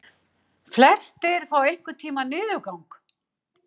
Flestir fá einhvern tíma niðurgang.